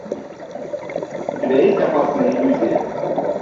у тебя есть опасная иллюзия